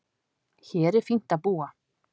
Hér er fínt að búa.